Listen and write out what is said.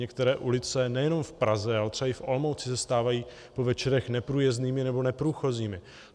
Některé ulice nejenom v Praze, ale třeba i v Olomouci se stávají po večerech neprůjezdnými nebo neprůchozími.